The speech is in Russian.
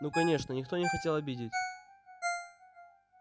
ну конечно никто не хотел обидеть